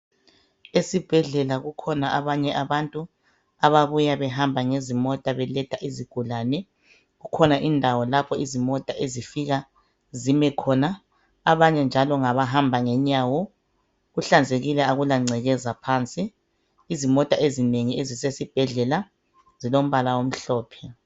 Esibhedlela kukhona abanye abantu ababuya behamba ngezimota. Beletha izigulane. Kukhona indawo lapho izimota ezifika zime khona. Abanye njalo bahamba ngenyawo. Kuhlanzekile, kakulangcekeza phansi. Izimota ezinengi ezisesibhedlela, zilombala omhlophe.